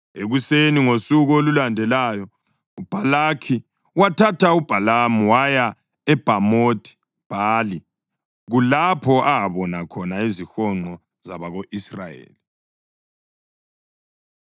Ekuseni ngosuku olulandelayo uBhalaki wathatha uBhalamu waya eBhamothi-Bhali, kulapho abona khona izihonqo zabako-Israyeli.